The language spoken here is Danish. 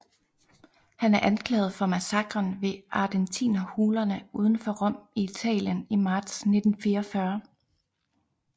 Han er anklaget for massakren ved Ardentinerhulerne uden for Rom i Italien i marts 1944